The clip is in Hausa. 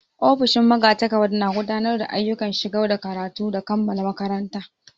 Ofishin magatakarda na gudanar da ayyukan shigar da karatu da kammala karatun.